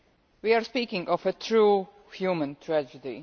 We are speaking of a true human tragedy.